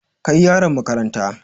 Kai yaron makaranta!